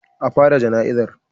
A fara jana'izar.